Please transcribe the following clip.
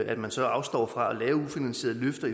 at man så afstår fra at give ufinansierede løfter